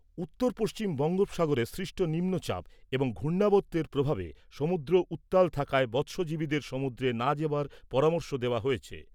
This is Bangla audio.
উত্তর পশ্চিম বঙ্গোপসাগরে সৃষ্ট নিম্নচাপ এবং ঘূর্ণাবর্তের প্রভাবে সমুদ্র উত্তাল থাকায় মৎস্যজীবীদের সমুদ্রে না যাবার পরামর্শ দেওয়া হয়েছে।